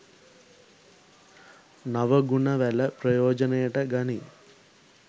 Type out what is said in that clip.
නව ගුණ වැල ප්‍රයෝජනයට ගනී.